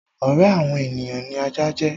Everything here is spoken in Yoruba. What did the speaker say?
Ọ̀rẹ́ àwọn ènìyàn ni ajá jẹ́.